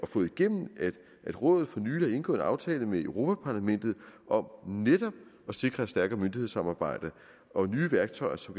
fået igennem at rådet for nylig har indgået en aftale med europa parlamentet om netop at sikre et stærkere myndighedssamarbejde og nye værktøjer så